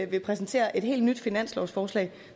vil præsentere et helt nyt finanslovsforslag